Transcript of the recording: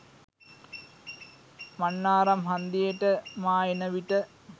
මන්නාරම් හන්දියට මා එන විට